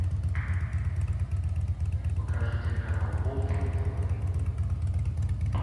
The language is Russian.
покажи телеканал болт на тв